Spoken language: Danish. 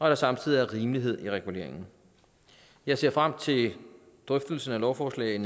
der samtidig er rimelighed i reguleringen jeg ser frem til drøftelsen af lovforslaget